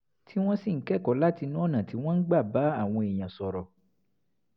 tí wọ́n sì ń kẹ́kọ̀ọ́ látinú ọ̀nà tí wọ́n gbà ń bá àwọn èèyàn sọ̀rọ̀